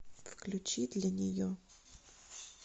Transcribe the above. включи для нее